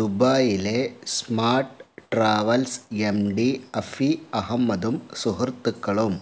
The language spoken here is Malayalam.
ദുബായിയിലെ സ്മാർട് ട്രാവൽസ് എംഡി അഫി അഹമദും സുഹൃത്തുക്കളും